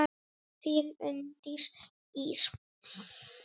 Þín Unndís Ýr.